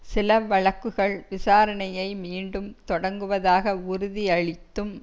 சில வழக்குகள் விசாரணையை மீண்டும் தொடக்குவதாக உறுதியளித்தும்